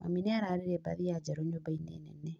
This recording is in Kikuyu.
Mami nĩararire mbathia njerũ nyũmba-inĩ nene